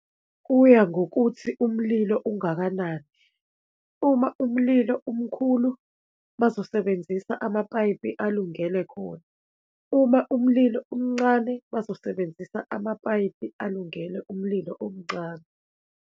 Kuya ngokuthi umlilo ungakanani. Uma umlilo umkhulu bazosebenzisa amapayipi alungele khona, uma umlilo umncane bazosebenzisa amapayipi alungele umlilo omncane.